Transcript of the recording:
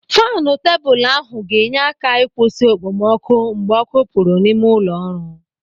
Faanu tebụl ahụ ga-enye aka ịkwụsị okpomọkụ mgbe ọ́kụ́ pụrụ n'ime ụlọ ọrụ.